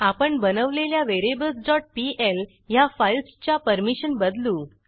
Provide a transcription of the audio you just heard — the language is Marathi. आपण बनवलेल्या variablesपीएल ह्या फाईल्सच्या परमिशन बदलू